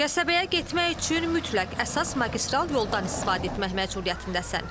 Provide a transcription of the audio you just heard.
Qəsəbəyə getmək üçün mütləq əsas magistral yoldan istifadə etmək məcburiyyətindəsən.